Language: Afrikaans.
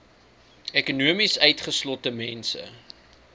ekonomies utgeslote mense